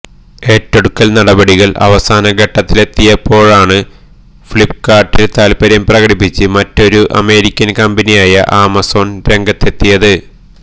ഏറ്റെടുക്കല് നടപടികള് അവസാന ഘട്ടത്തിലെത്തിയപ്പോഴാണ് ഫ്ലിപ്കാര്ട്ടില് താല്പര്യം പ്രകടിപ്പിച്ച് മറ്റൊരു അമേരിക്കന് കമ്പനിയായ ആമസോണ് രംഗത്തെത്തിയത്